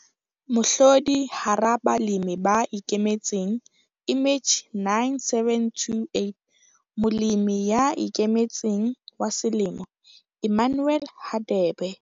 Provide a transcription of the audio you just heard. Mohlodi hara balemi ba ikemetseng image 9728- Molemi ya Ikemetseng wa Selemo- Emmanuel Hadebe.